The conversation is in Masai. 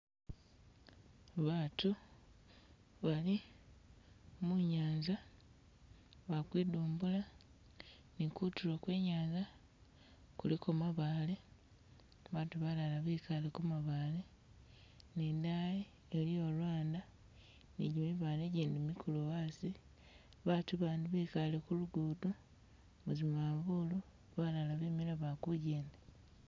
Baatu bali munyanza bali kwindumbula ni kuutulo kwe inyanza kuliko mabaale, baatu balaala bikale Ku mabaale, ni dayi eliiyo ulwanda ni gimibaale migulu gendi geliyo a'asi, baatu abandi bikaale ku lugudo muzimaafulu, balaala bimile bali ku'jenda